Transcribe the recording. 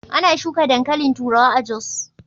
Ana shuka dankalin turawa a Jos.